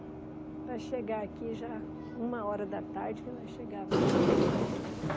Para chegar aqui já uma hora da tarde que nós chegava aqui.